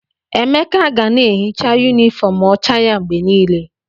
Emeka ga na-ehicha yunifọọm ọcha ya mgbe niile.